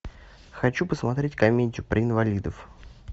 хочу посмотреть комедию про инвалидов